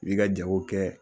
I b'i ka jago kɛ.